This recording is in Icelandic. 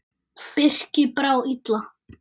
Birki brá illa.